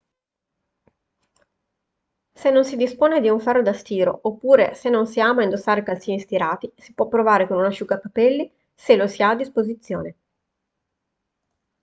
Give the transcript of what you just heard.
se non si dispone di un ferro da stiro oppure se non si ama indossare calzini stirati si può provare con un asciugacapelli se lo si ha a disposizione